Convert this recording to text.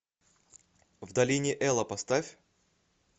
в долине эла поставь